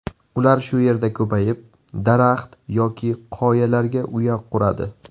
Ular shu yerda ko‘payib, daraxt yoki qoyalarga uya quradi.